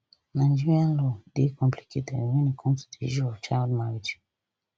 nigeria law dey complicated wen e come to di issue of child marriage